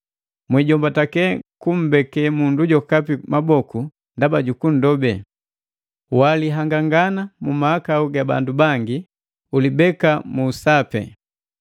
Mwijombatee kumbeke mundu jokapi maboku ndaba jukunndobe. Wiihangani mahakau ga bangi; ulibeka mu sapi.